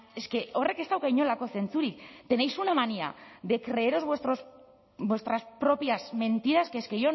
es que horrek ez dauka inolako zentzurik tenéis una manía de creeros vuestras propias mentiras que es que